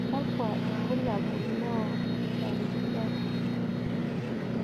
kakua irbulabol lo lorijaki?